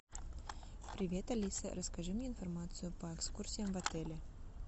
привет алиса расскажи мне информацию по экскурсиям в отеле